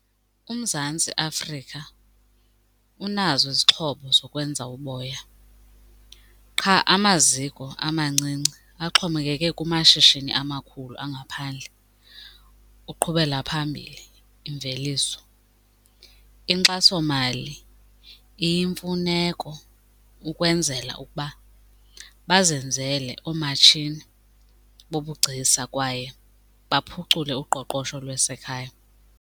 UMzantsi Afrika unazo izixhobo zokwenza uboya qha amaziko amancinci axhomekeke kumashishini amakhulu angaphandle uqhubela phambili imveliso. Inkxasomali iyimfuneko ukwenzela ukuba bazenzele oomatshini bobugcisa kwaye baphucule uqoqosho lwasekhaya.